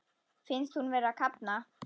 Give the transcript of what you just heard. Finnst hún vera að kafna.